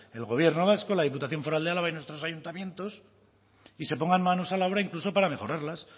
el gobierno vasco la diputación foral de álava y nuestros ayuntamientos y se pongan manos a la obra incluso para mejorarlas